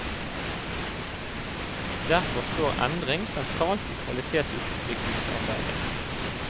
Derfor står endring sentralt i kvalitetsutviklingsarbeidet.